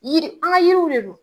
Yiri an ga yiriw de don